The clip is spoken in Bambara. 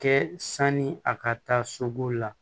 Kɛ sani a ka taa sobo la